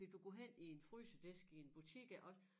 Fordi du går hen i en frysedisk i en butik iggås